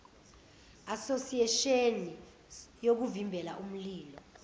asosiyesheni yokuvimbela imililo